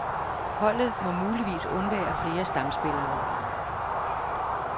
Holdet må muligvis undvære flere stamspillere.